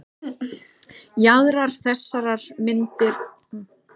Jaðrar þessarar myndar verða þó alltaf frekar óskýrir.